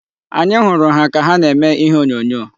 Anyị hụrụ ha ka na-eme ihe onyonyo.